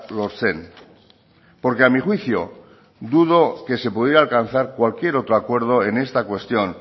lortzen porque a mi juicio dudo que se pudiera alcanzar cualquier otro acuerdo en esta cuestión